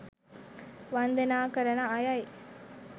වන්දනා කරන අයයි.